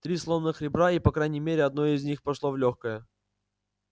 три сломанных ребра и по крайней мере одно из них прошло в лёгкое